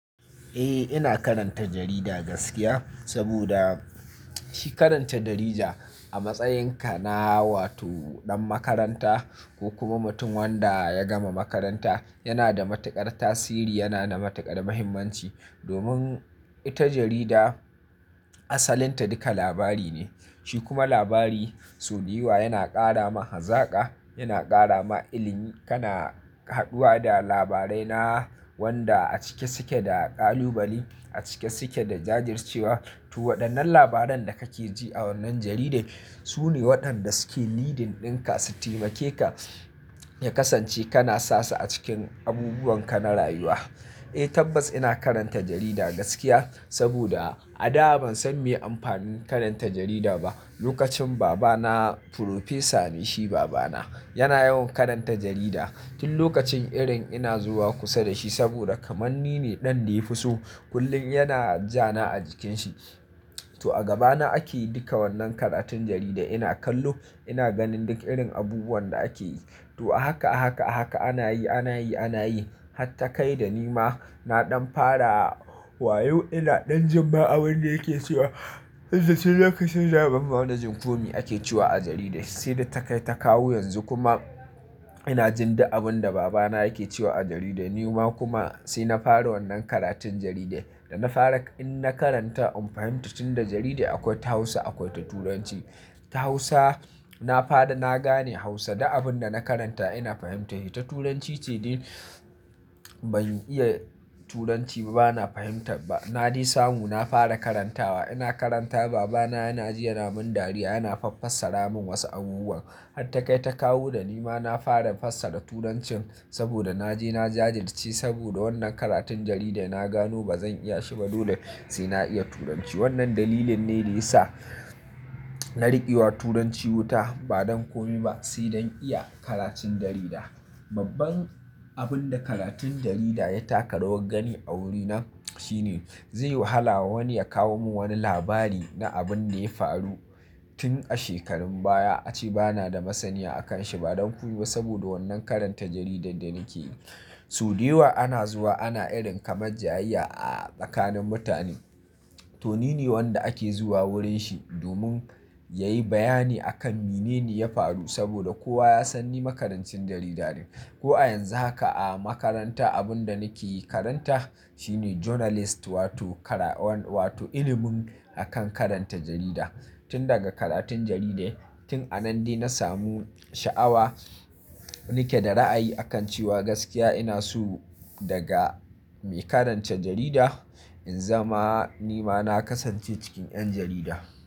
Eh ina karanta jarida gaskiya, saboda shi karanta jarida a matsayinka na wato ɗan makaranta ko kuma mutum wanda ya gama makaranta yana da matuƙar tasiri, yana da matuƙar muhimmanci. Domin ita jarida asalin ta duka labari ne, shi kuma labari so dayawa yana ƙara ma hazaka, yana ƙara ma ilimi. Kana haduwa da labarai na wanda a cike suke da ƙalubale, a cike suke da jajircewa. To waɗannan labaran da kake ji a wannan jarida, su ne waɗanda suke leading ɗinka su taimake ka ya kasance kana sasu a cikin abubuwan ka na rayuwa. Eh tabbas ina karanta jarida gaskiya saboda a da ban san me amfanin karanta jarida ba. Lokacin babana, furfesa ne shi babana yana yawan karanta jarida. Tin lokacin irin ina zuwa kusa da shi saboda kaman ni ne ɗan da ya fi so, kullum yana ja na a jikin shi. To a gaba na ake duka wannan karatun jaridar ina kallo, ina ganin duk irin abubuwan da akeyi. To a haka, a haka, a haka ana yi, ana yi, ana yi. Hatta kai da ni ma na ɗan fara wayo ina ɗan jin ma abin da yake cewa, duk da dai lokacin bana gane komi ake cewa a jarida." Sai da ta kai ta kawo yanzu kuma ina jin duk abin da babana yake cewa a jarida. Ni ma kuma sai na fara wannan karatun jarida. Da na fara in na karanta in fahimta, tunda jarida akwai ta Hausa akwai ta Turanci. Ta Hausa na fara na gane Hausa du abin da na karanta ina fahimta shi. Ta Turanci ce dai ban iya Turanci ba, bana fahimta ba. Na dai samu na fara karantawa. Ina karanta babana yana ji yana min dariya, yana faffasara min wasu abubuwan. Hatta kai ta kawo da ni ma na fara fassara Turancin saboda na je na jajirce saboda wannan karatun jarida. Na gano bazan iya shi ba, dole sai na iya Turanci. Wannan dalilin ne da ya sa na riƙewa Turanci wuta ba don komi ba sai don iya karatun jarida. Babban abin da karatun jarida ya taka rawar gani a wurina shine zai wahala wa wani ya kawo mun wani labari na abin da ya faru tin a shekarun baya ace bana da masaniya a kan shi ba don komi ba saboda wannan karanta jaridar da nake yi. So dayawa ana zuwa ana irin kamar jayayya a tsakanin mutane. To nine wanda ake zuwa wurin shi domin yayi bayani akan mene ne ya faru saboda kowa ya san ni makarancin jarida ne. Ko a yanzu haka a makaranta abin da nake karanta shine journalist wato kara wan-- wato ilimin akan karanta jarida. Tin daga karatun jarida tin a nan dai na samu sha'awa, nike da ra'ayi a kan cewa gaskiya ina so daga mai karanta jarida in zama ni ma na kasance cikin 'yan jarida.